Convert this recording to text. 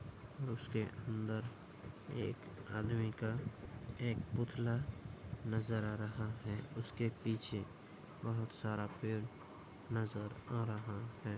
उसके अंदर एक आदमी का एक पुतला नज़र आ रहा है उसके पीछे बहुत सारा पेड़ नज़र आ रहा है।